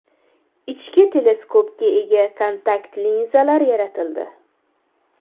Ichki teleskopga ega kontakt linzalar yaratildi.